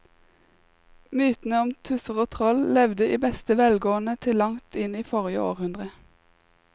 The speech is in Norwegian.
Mytene om tusser og troll levde i beste velgående til langt inn i forrige århundre.